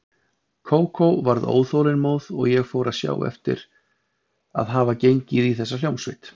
Kókó varð óþolinmóð og ég fór að sjá eftir að hafa gengið í þessa hljómsveit.